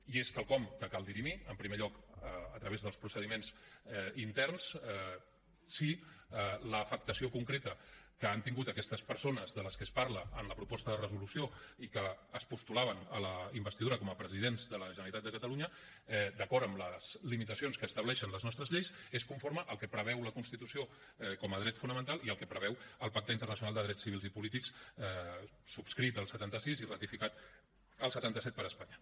i és quelcom que cal dirimir en primer lloc a través dels procediments interns si l’afectació concreta que han tingut aquestes persones de les que es parla en la proposta de resolució i que es postulaven a la investidura com a presidents de la generalitat de catalunya d’acord amb les limitacions que estableixen les nostres lleis és conforme al que preveu la constitució com a dret fonamental i al que preveu el pacte internacional de drets civils i polítics subscrit el setanta sis i ratificat el setanta set per espanya